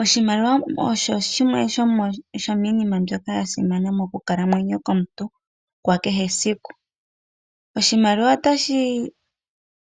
Oshimaliwa osho shimwe sha shomiinima mbyono ya simana mokukalamwenyo komuntu kwa kehe esiku. Oshimaliwa otashi